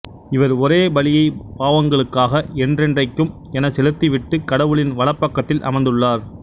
இவர் ஒரே பலியைப் பாவங்களுக்காக என்றென்றைக்கும் எனச் செலுத்திவிட்டு கடவுளின் வலப்பக்கத்தில் அமர்ந்துள்ளார்